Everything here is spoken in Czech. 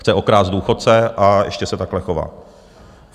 Chce okrást důchodce, a ještě se takhle chová.